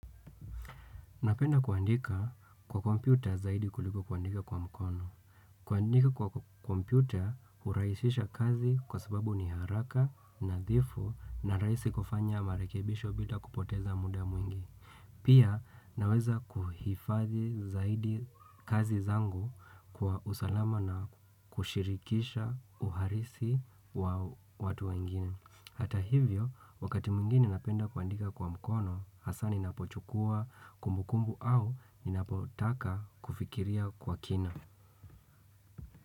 Napenda kuandika kwa kompyuta zaidi kuliko kuandika kwa mkono. Kuandika kwa kompyuta uraisisha kazi kwa sababu ni haraka nadhifu na raisi kufanya marekebisho bila kupoteza muda mwingi. Pia naweza kuhifazi zaidi kazi zangu kwa usalama na kushirikisha uharisi wa watu wengine. Hata hivyo, wakati mingine napenda kuandika kwa mkono, hasa ninapochukua kumbukumbu au ninapotaka kufikiria kwa kina.